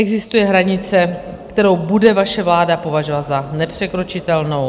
Existuje hranice, kterou bude vaše vláda považovat za nepřekročitelnou?